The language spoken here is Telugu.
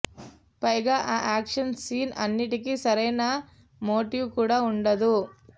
పైగా ఆ యాక్షన్ సీన్స్ అన్నిటికీ సరైన మోటివ్ కూడా ఉండదు